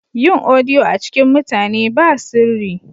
Yin odiyo a cikin mutane ba sirri.